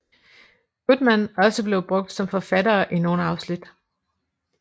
Goodman også blev brugt som forfattere i nogle afsnit